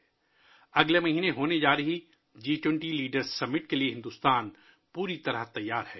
بھارت اگلے ماہ منعقد ہونے والی جی 20 سربراہ کانفرنس کے لیے پوری طرح تیار ہے